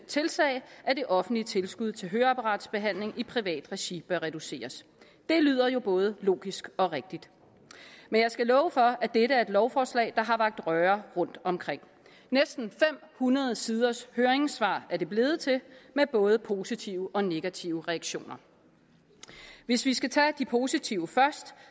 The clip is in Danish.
tilsiger at at det offentlige tilskud til høreapparatbehandling i privat regi bør reduceres det lyder jo både logisk og rigtigt men jeg skal love for at dette er et lovforslag der har vakt røre rundtomkring næsten fem hundrede siders høringssvar er det blevet til med både positive og negative reaktioner hvis vi skal tage de positive først